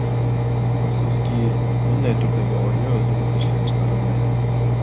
Afsuski, bunday turdagi oyna o‘zimizda ishlab chiqarilmaydi.